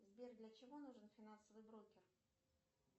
сбер для чего нужен финансовый брокер